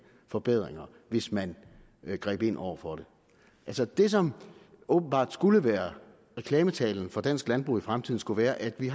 forbedringer hvis man greb ind over for det altså det som åbenbart skulle være reklametalen for dansk landbrug i fremtiden skulle være at vi